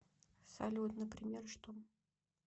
салют например что